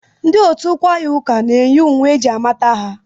Ndị otu kwaya ụka na-eyi uwe eji amata ha.